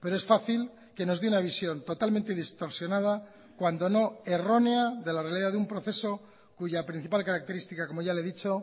pero es fácil que nos de una visión totalmente distorsionada cuando no errónea de la realidad de un proceso cuya principal característica como ya le he dicho